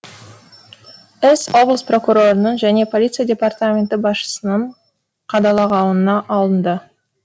іс облыс прокурорының және полиция департаменті басшысының қадағалауына алынды